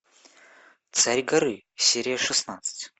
царь горы серия шестнадцать